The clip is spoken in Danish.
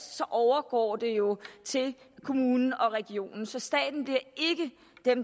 overgår det jo til kommune og region så staten